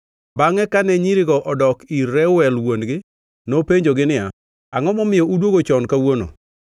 Bangʼe kane nyirigo odok ir Reuel wuon-gi, nopenjogi niya, “Angʼo momiyo udwogo chon kawuono?”